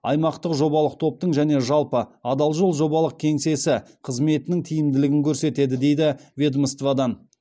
аймақтық жобалық топтың және жалпы адал жол жобалық кеңсесі қызметінің тиімділігін көрсетеді дейді ведомстводан